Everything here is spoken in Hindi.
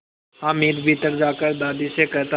हामिद भीतर जाकर दादी से कहता